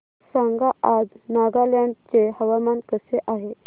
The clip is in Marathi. सांगा आज नागालँड चे हवामान कसे आहे